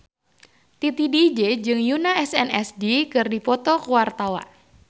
Titi DJ jeung Yoona SNSD keur dipoto ku wartawan